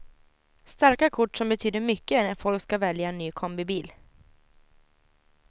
Starka kort som betyder mycket när folk ska välja ny kombibil.